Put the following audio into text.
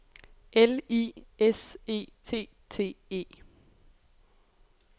L I S E T T E